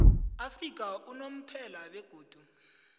afrika unomphela begodu